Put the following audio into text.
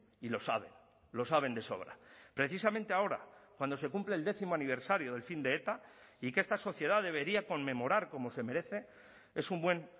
y lo saben lo saben de sobra precisamente ahora cuando se cumple el décimo aniversario del fin de eta y que esta sociedad debería conmemorar como se merece es un buen